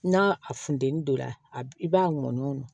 N'a fununen don a b i b'a mɔn